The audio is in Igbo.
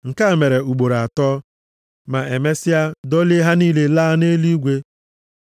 Nke a mere ugboro atọ, ma emesịa dọlie ha niile laa nʼeluigwe.